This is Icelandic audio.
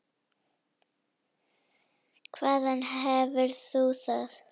Hvaðan hefur þú það?